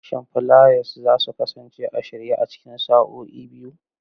Shin fulayas za su kasance a shirye a cikin sa'o'i biyu?